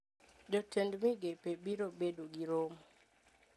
Jotend migepe biro bedo gi romo